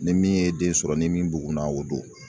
Ni min ye den sɔrɔ ni min bugunna o don